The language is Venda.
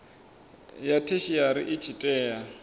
ya theshiari i tshi tea